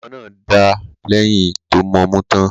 Ọmọ náà dà lẹ̀yìn tó mọmú tán.